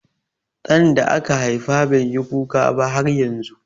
Ɗan da aka haifa bai yi kuka ba har yanzu.